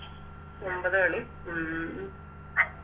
ഒമ്പത് മണി ഉം